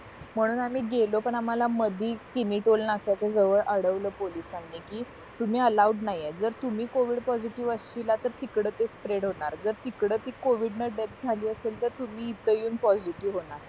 म्हणून आम्ही गेलो पण आम्हाला मधी किमी टोल नाक्याच्या जवळ अडवला पोलिसांनी कि तुम्ही अलाऊड नाही आहे जर तुम्ही covid पॉसिटीव्ह अशीला तर तिकडं ते स्प्रेड होणार तर तिकडं ते covid डेथ झाली असेल तर तुम्ही इथे येऊन पॉसिटीव्ह होणार